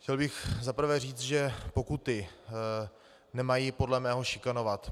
Chtěl bych za prvé říct, že pokuty nemají podle mého šikanovat.